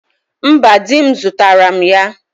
Mba di m zutara m ya